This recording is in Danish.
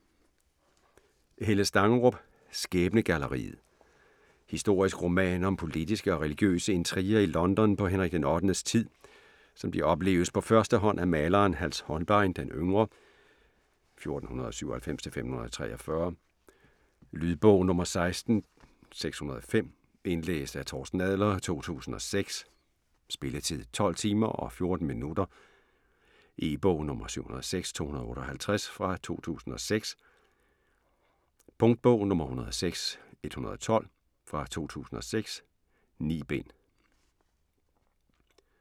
Stangerup, Helle: Skæbnegalleriet Historisk roman om politiske og religiøse intriger i London på Henrik den Ottendes tid, som de opleves på første hånd af maleren Hans Holbein den Yngre (1497-1543). Lydbog 16605 Indlæst af Torsten Adler, 2006. Spilletid: 12 timer, 14 minutter. E-bog 706258 2006. Punktbog 106112 2006. 9 bind.